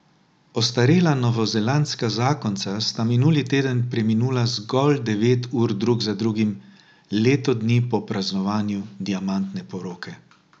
Ostarela novozelandska zakonca sta minuli teden preminula zgolj devet ur drug za drugim, leto dni po praznovanju diamantne poroke.